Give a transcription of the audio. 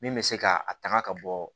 Min bɛ se ka a taŋa ka bɔ